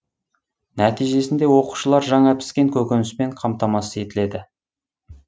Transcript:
нәтижесінде оқушылар жаңа піскен көкөніспен қамтамасыз етіледі